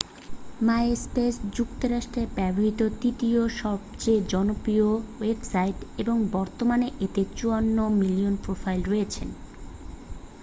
MySpace যুক্তরাষ্ট্রে ব্যবহৃত তৃতীয় সবচেয়ে জনপ্রিয় ওয়েবসাইট এবং বর্তমানে এতে 54 মিলিয়ন প্রোফাইল রয়েছে